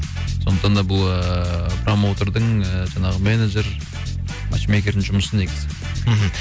сондықтан да бұл ыыы промоутердің ыыы жаңағы менеджер матч мейкердің жұмысы негізі мхм